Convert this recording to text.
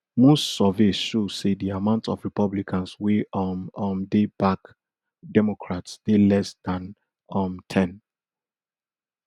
most surveys show say di amount of republicans wey um um dey back democrats dey less than um ten